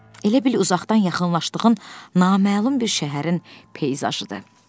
Elə bil uzaqdan yaxınlaşdığın naməlum bir şəhərin peyzajıdır.